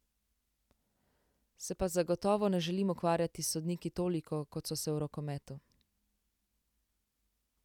Se pa zagotovo ne želim ukvarjati s sodniki toliko, kot so se v rokometu.